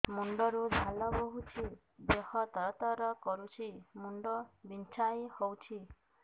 ମୁଣ୍ଡ ରୁ ଝାଳ ବହୁଛି ଦେହ ତର ତର କରୁଛି ମୁଣ୍ଡ ବିଞ୍ଛାଇ ହଉଛି